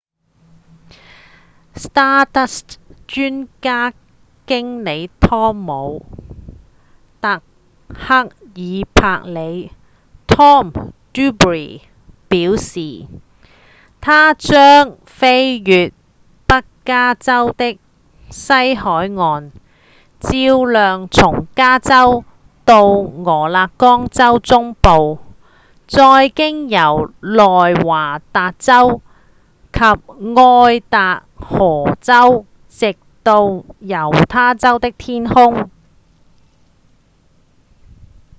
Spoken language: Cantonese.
stardust 專案經理湯姆．達克斯伯里 tom duxbury 表示：「它將飛越北加州的西海岸照亮從加州到俄勒岡州中部再經由內華達州及愛達荷州直到猶他州的天空」